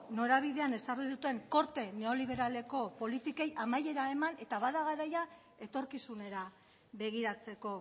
norabidean ezarri duten korte neoliberaleko politikei amaiera eman eta bada garaia etorkizunera begiratzeko